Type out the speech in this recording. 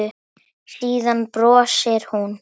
Síðan brosir hún.